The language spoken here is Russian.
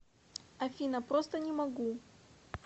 афина просто не могу